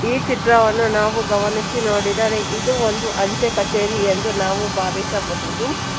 ಈ ಚಿತ್ರವನ್ನು ನಾವು ಗಮನಿಸಿ ನೋಡಿದರೆ ಇದು ಒಂದು ಅಂಚೆ ಕಚೇರಿ ಎಂದು ನಾವು ಭಾವಿಸಬಹುದು.